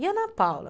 E a Ana Paula?